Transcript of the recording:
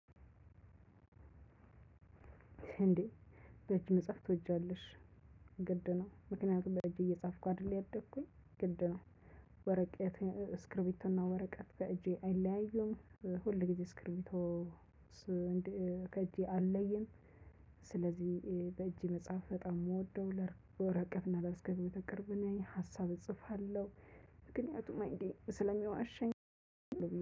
እንዴ በእጅ መጻፍ ትወጃለሽ? ግድ ነው። ምክንያቱም በእጅ እየጻፍኩ አይደለም ያደግኩኝ ግድ ነው። ወረቀት ስክሪቢቶ እና ወረቀት በእጄ አይለያዩም። ሁል ጊዜ ስክሪብቶ ከእጄ አይለይም። ስለዚህ በእጄ መጻፍ በጣም ነው የምወደው ለወረቀትና ለእስክርቢቶ ቅርብነኝ ሀሳብ እጽፋለሁ። ምክንያቱም አይዲያ ስለሚዋሸኝ።